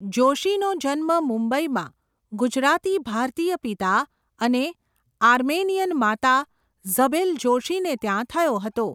જોશીનો જન્મ મુંબઈમાં ગુજરાતી ભારતીય પિતા અને આર્મેનિયન માતા ઝબેલ જોશીને ત્યાં થયો હતો.